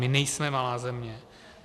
My nejsme malá země.